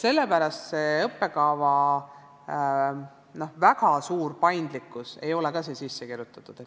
Sellepärast ei ole õppekava väga suur paindlikkus siia sisse kirjutatud.